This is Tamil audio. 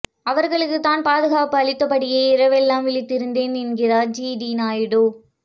அவர்களுக்குத் தான் பாதுகாப்பு அளித்தபடியே இரவெல்லாம் விழித்திருந்தேன் என்கிறார் ஜிடி நாயுடு